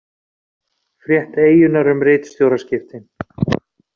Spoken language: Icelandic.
Frétt Eyjunnar um ritstjóraskiptin